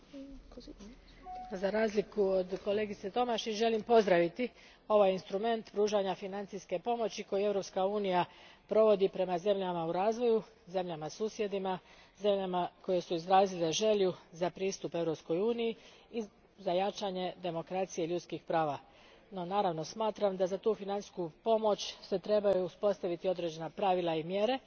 Gospođo predsjedavajuća, za razliku od kolegice Tomašić, želim pozdraviti ovaj instrument pružanja financijske pomoći koji Europska unija provodi prema zemljama u razvoju, zemljama susjedima, zemljama koje su izrazile želju za pristup Europskoj uniji i za jačanje demokracije i ljudskih prava, no, naravno, smatram da se za tu financijsku pomoć trebaju uspostaviti određena pravila i mjere.